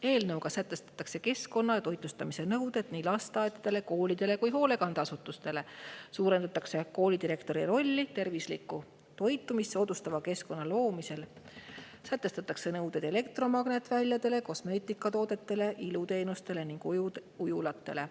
Eelnõuga sätestatakse keskkonna- ja toitlustusnõuded nii lasteaedadele, koolidele kui ka hoolekandeasutustele, suurendatakse koolidirektori rolli tervislikku toitumist soodustava keskkonna loomisel, sätestatakse nõuded elektromagnetväljadele, kosmeetikatoodetele, iluteenustele ning ujulatele.